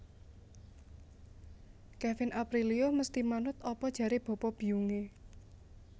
Kevin Aprilio mesti manut apa jare bapa biyung e